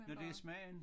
Men det smagen?